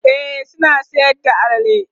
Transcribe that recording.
e suna Sayar da alala